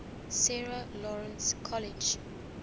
sarah lawrence college